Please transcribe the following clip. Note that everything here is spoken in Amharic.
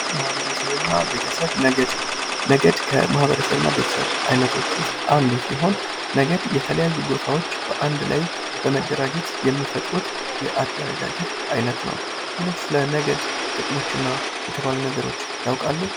ማህበረሰብና ቤተሰብ ነገድ። ነገድ ከማህበረሰብ ቤተሰብ አይነቶች ውስጥ አንዱ ሲሆን ነገር የተለያዩ ጎሳዎች በአንድ ላይ በመደራጀት የሚፈጥሩት የአደረጃጀት አይነት ነው። ሌሎች ስለ ነገድ ጥቅሞች እና የተባሉ ነገሮች ያውቃሉ?